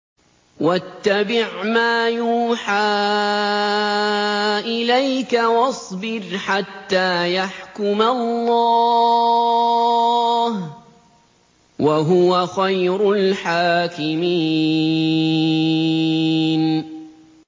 وَاتَّبِعْ مَا يُوحَىٰ إِلَيْكَ وَاصْبِرْ حَتَّىٰ يَحْكُمَ اللَّهُ ۚ وَهُوَ خَيْرُ الْحَاكِمِينَ